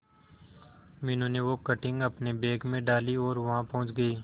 मीनू ने वो कटिंग अपने बैग में डाली और वहां पहुंच गए